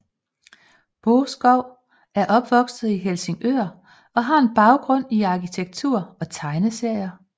Boeskov er opvokset i Helsingør og har en baggrund i arkitektur og tegneserier